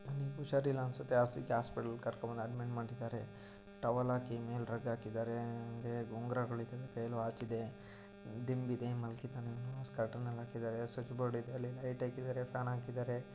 ಹುಷಾರಿಲ್ಲ ಅನ್ಸುತ್ತೆ ಅದಕ್ಕೆ ಹಾಸ್ಪಿಟಲ್ ಕರ್ಕೊಂಡ್ ಬಂದು ಅಡ್ಮಿಟ್ ಮಾಡಿದ್ದಾರೆ ಟವಲ್ ಹಾಕಿ ಮೇಲೆ ರಗ್ಗ ಹಾಕಿದರೆ ಕೈಗೆ ಉಂಗುರ ಹಾಕಿದ್ದಾರೆ ವಾಚ್ ಇದೆ ದಿಂಬಿದೆ ಮಲಗಿದೆ ನಾನು ಸ್ವಿಚ್ ಬೋರ್ಡ್ ಇದೆ ಲೈಟ್ ಹಾಕಿದರೆ ಫ್ಯಾನ್ ಹಾಕಿದರೆ.